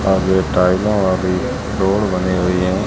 और ये टाइलों वाली डोर बनी हुई हैं।